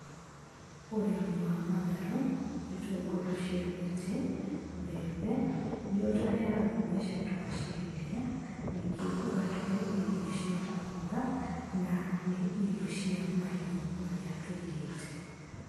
Ũrĩmi wa matharũ, itũngũrũ cia mĩtĩ, mbembe, nĩ ũtũheyaga mbeca twaciendia. Ningĩ ũgatũhe irio cia kũruga, na nĩ irio cia mahiũ marĩa tũigĩte.